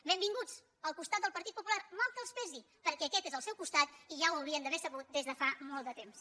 benvinguts al costat del partit popular mal que els pesi perquè aquest és el seu costat i ja ho haurien d’haver sabut des de fa molt de temps